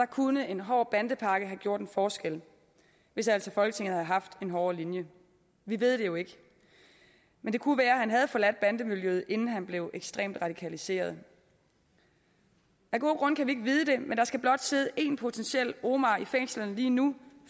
kunne en hård bandepakke have gjort en forskel hvis altså folketinget havde haft en hårdere linje vi ved det jo ikke men det kunne være at han havde forladt bandemiljøet inden han blev ekstremt radikaliseret af gode grunde kan vi ikke vide det men der skal blot sidde én potentiel omar i fængslerne lige nu